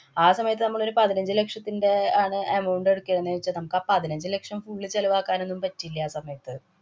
ആ സമയത്ത് നമ്മളൊരു പതിനഞ്ചു ലക്ഷത്തിന്‍റെ ആണ് amount എടുക്കേന്ന് വച്ചാ നമ്മക്കാ പതിനഞ്ചു ലക്ഷം full ചെലവാക്കാനൊന്നും പറ്റില്ല ആ സമയത്ത്.